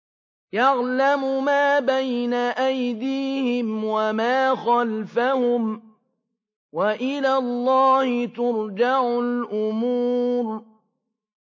يَعْلَمُ مَا بَيْنَ أَيْدِيهِمْ وَمَا خَلْفَهُمْ ۗ وَإِلَى اللَّهِ تُرْجَعُ الْأُمُورُ